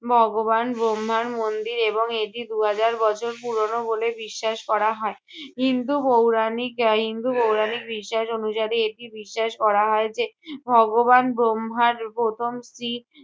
ভগবান ব্রহ্মার মন্দির এবং এটি দু'হাজার বছর পুরোনো বলে বিশ্বাস করা হয়। হিন্দু পৌরাণিক এর হিন্দু পৌরাণিক বিশ্বাস অনুসারে এটি বিশ্বাস করা হয় যে, ভগবান ব্রহ্মার প্রথম স্ত্রী